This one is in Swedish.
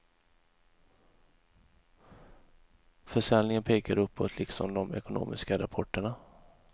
Försäljningen pekar uppåt liksom de ekonomiska rapporterna.